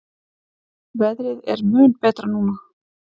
Veðrið er mun betra núna.